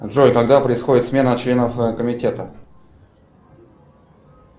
джой когда происходит смена членов комитета